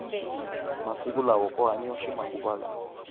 masiku lawa ku hanyiwa ximanguva lawa